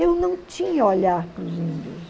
Eu não tinha olhar para os índios.